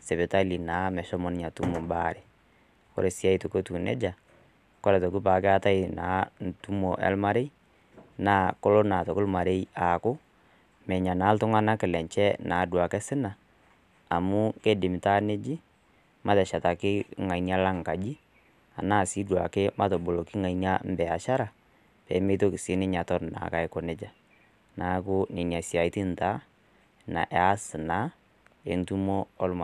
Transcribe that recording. sipitali naa meshomo ninye alo atum naa embaare. Ore sii aitoki etiu neija, kore aitoki naa keatai naa entumo olmarei, naa kelo naa aitoki olmarei aaku, menya naa duake iltung'ana lenye naa osina, amu keidim naa neji, mateshetaki ng'ania lang' naa enkaji, anaa mataboloki ng'ania embiaashara pee meitoki naake sii ninye aton naa aiko neija. Neaku nena siaitin taa eas naa entumo olmarei.